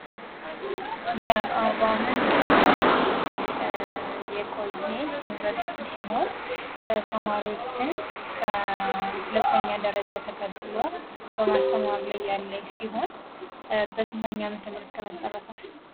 የአርባምንጭ ዩኒቨርስቲ የቆየ ዩኒቨርስቲ ሲሆን ተማሪወችን ከሁለተኛ ደረጃ ተቀብሎ በማስተማር ላይ ያለ ሲሆን በስንተኛው አመተምህረት ተመሰረተ?